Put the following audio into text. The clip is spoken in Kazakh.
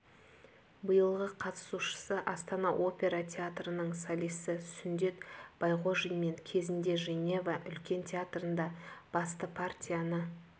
биылғы қатысушысы астана опера театрының солисі сүндет байғожин мен кезінде женева үлкен театрында басты партияны